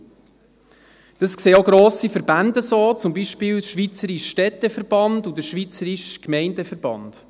Dies sehen auch grosse Verbände so, zum Beispiel der Schweizerische Städteverband und der Schweizerische Gemeindeverband.